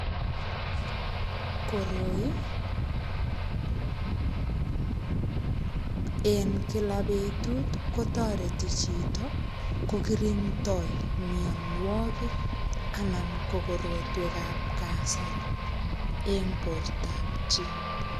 Koroi, en kila betut kotoreti chito kokirindoi mianwogik, anan ko korotwekap kasari en portop chii.